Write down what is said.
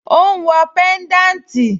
Ó ń wọ pẹ́ńdáǹtì?